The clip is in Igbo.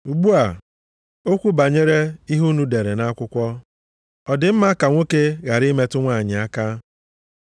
Ugbu a, okwu banyere ihe unu dere nʼakwụkwọ: “Ọ dị mma ka nwoke ghara ịmetụ nwanyị aka.”